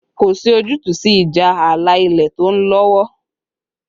Kò sí ojútùú sí ìjà ààlà ilẹ̀ tó ń lọ́wọ́